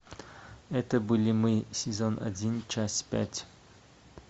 это были мы сезон один часть пять